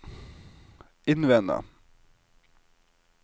innvende